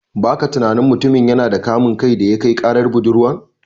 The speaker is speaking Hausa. Baka tunani mutumin yana da kamun kai daya kai karar budurwan?